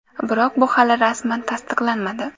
Biroq bu hali rasman tasdiqlanmadi.